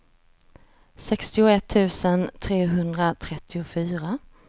sextioett tusen trehundratrettiofyra